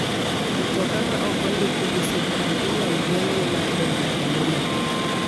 Mtoka ma ok ondiki gi sirkal inyal geng'ne mar donjo kuonde moko.